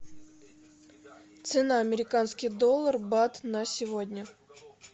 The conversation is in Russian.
цена американский доллар бат на сегодня